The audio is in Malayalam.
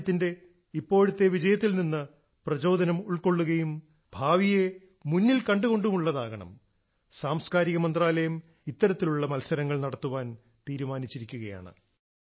രാജ്യത്തിന്റെ ഇപ്പോഴത്തെ വിജയത്തിൽ നിന്ന് പ്രചോദനം ഉൾക്കൊള്ളുകയും ഭാവിയെ മുന്നിൽ കണ്ടു കൊണ്ടുമുള്ളതാകണം സാംസ്ക്കാരിക മന്ത്രാലയം രാഷ്ട്രീയതലത്തിൽ ഇത്തരത്തിലുള്ള മത്സരങ്ങൾ നടത്താൻ തീരുമാനിച്ചിരിക്കുകയാണ്